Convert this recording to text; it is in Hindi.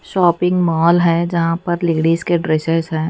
शॉपिंग मॉल है जहां पर लेडिस के ड्रेसेज़ हैं।